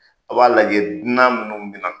A b'a lajɛ dunan minnu bi na.